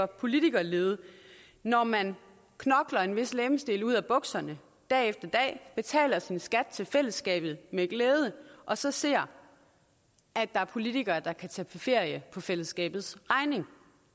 politikerlede når man knokler en vis legemsdel ud af bukserne dag efter dag betaler sin skat til fællesskabet med glæde og så ser at der er politikere der kan tage på ferie på fællesskabets regning